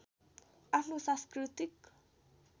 आफ्नो सांस्कृतिक